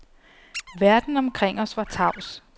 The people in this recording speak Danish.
Verden omkring os var tavs.